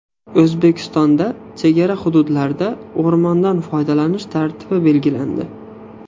O‘zbekistonda chegara hududlarda o‘rmondan foydalanish tartibi belgilandi.